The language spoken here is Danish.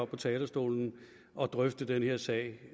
på talerstolen og drøfte den her sag